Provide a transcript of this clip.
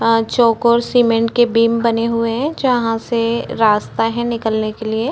अ chalk और cement के बिम्ब बने हुहे है जहा से रास्ता है निकलने के लिए--